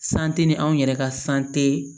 ni anw yɛrɛ ka